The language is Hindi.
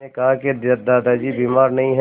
मैंने कहा कि दादाजी बीमार नहीं हैं